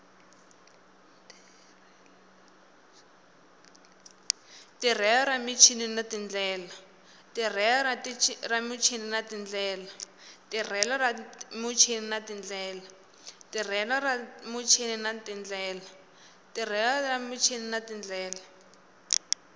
tirhelo ra muchini na tindlela